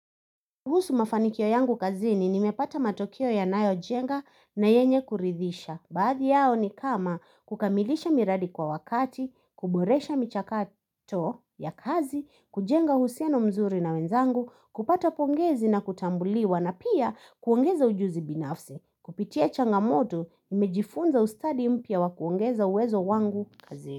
Kuhusu mafanikio yangu kazini nimepata matokeo yanayo jenga na yenye kuridhisha. Baadhi yao ni kama kukamilisha miradi kwa wakati, kuboresha michakato ya kazi, kujenga uhusiano mzuri na wenzangu, kupata pongezi na kutambuliwa na pia kuongeza ujuzi binafsi. Kupitia changamoto, nimejifunza ustadi mpya wa kuongeza uwezo wangu kazini.